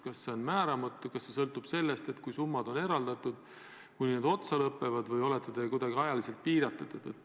Kas see on määramatu, kas see sõltub sellest, kui summad on eraldatud, sellest, kui need otsa lõpevad, või olete te kuidagi ajaliselt piiratud?